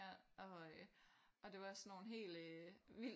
Ja og øh og det var sådan nogle helt øh vildt